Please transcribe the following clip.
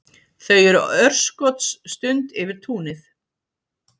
Þau eru örskotsstund yfir túnið.